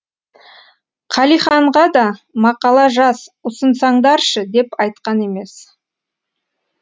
қалиханға да мақала жаз ұсынсаңдаршы деп айтқан емес